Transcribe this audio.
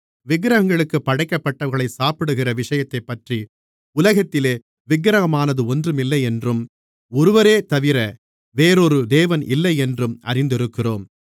விக்கிரகங்களுக்குப் படைக்கப்பட்டவைகளைச் சாப்பிடுகிற விஷயத்தைப்பற்றி உலகத்திலே விக்கிரகமானது ஒன்றுமில்லையென்றும் ஒருவரேதவிர வேறொரு தேவன் இல்லையென்றும் அறிந்திருக்கிறோம்